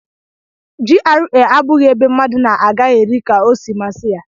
GRA abụghị ebe mmadụ na-agaghari ka-osi masi ya.